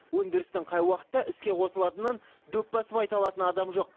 өндірістің қай уақытта іске қосылатынын дөп басып айта алатын адам жоқ